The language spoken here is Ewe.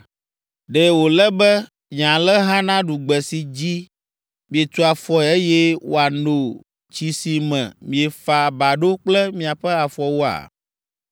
Ɖe wòle be nye alẽha naɖu gbe si dzi mietu afɔe eye woano tsi si me miefa ba ɖo kple miaƒe afɔwoa?’